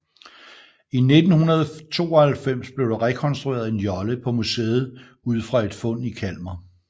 I 1992 blev der rekonstrueret en jolle på museet ud fra et fund i Kalmar